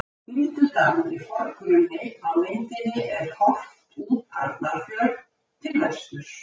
Bíldudalur í forgrunni, á myndinni er horft út Arnarfjörð til vesturs.